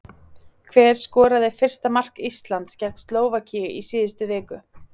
Hver skoraði fyrsta mark Íslands gegn Slóvakíu í síðustu viku?